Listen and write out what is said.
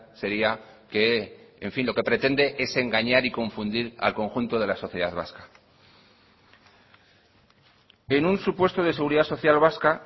sería que en fin lo que pretende es engañar y confundir al conjunto de la sociedad vasca en un supuesto de seguridad social vasca